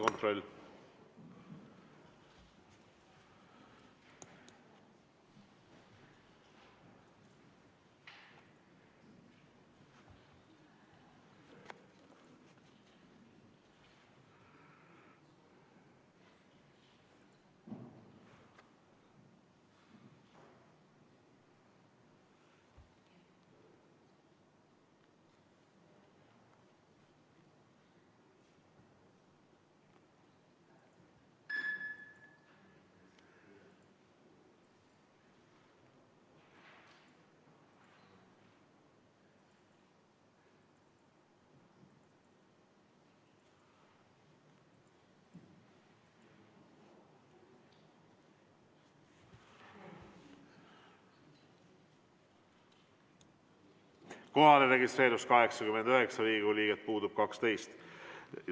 Kohalolijaks registreerus 89 Riigikogu liiget, puudub 12.